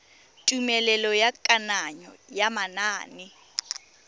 tumelelo ya kananyo ya manane